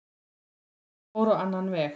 En það fór á annan veg